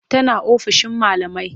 Tana ofishin malamai.